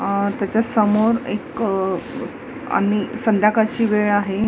अह त्याच्यासमोर एक आणि संध्याकाळची वेळ आहे.